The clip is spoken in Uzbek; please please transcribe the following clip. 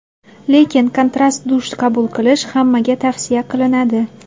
Lekin kontrast dush qabul qilish hammaga tavsiya qilinadi.